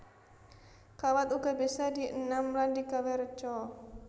Kawat uga bisa dienam lan digawé reca